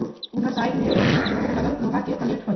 जंग लगल लोहा के प्लेट हेय।